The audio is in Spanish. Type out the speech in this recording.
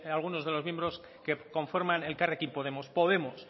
algunos de los miembros que conforman elkarrekin podemos podemos